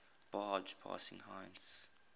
barge passing heinz